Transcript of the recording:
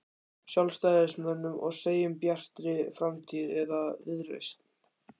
Sjálfstæðismönnum og segjum Bjartri framtíð eða Viðreisn?